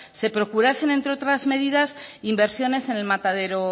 se procurasen entre otras medidas inversiones en el matadero